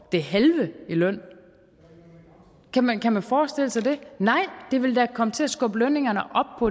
det halve i løn kan man kan man forestille sig det nej det vil da komme til at skubbe lønningerne